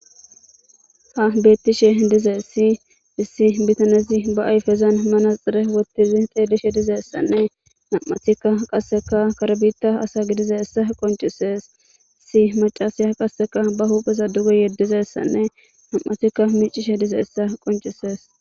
ha bettishe dize si issi bitanezi ba ayfezan manaxere wottizi xeelishe dizeessanne nam7atikka qasseka karbita asa gidize issa qoncisees si macasiya qasseka ba hupheza duge yeddizessanne nam7atikka miicishe dize essa qoncisees